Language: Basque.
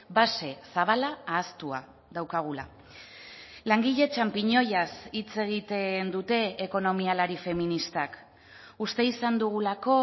base zabala ahaztua daukagula langile txanpiñoiaz hitz egiten dute ekonomialari feministak uste izan dugulako